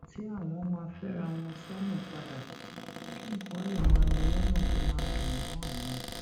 tí àwọn máa féra wọn sónà padà kí nǹkan lè máa lọ lónà tó máa dùn mó àwọn